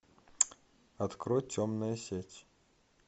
открой темная сеть